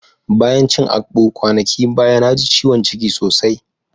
Bayan cin akpu kwanakin baya, na ji ciwon ciki sosai.